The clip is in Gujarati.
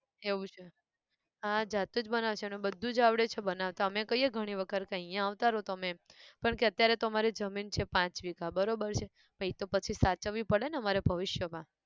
એવું છે, હા જાતે જ બનાવે છે અને બધું જ આવડે છે બનાવતા અમે કહીએ ઘણી વખત કે અહીંયા આવતા રહો તમે એમ, પણ કે અત્યારે તો અમારે જમીન છે પાંચ વીઘા બરોબર છે પછી એતો પછી સાચવવી પડે ને અમારે ભવિષ્ય માં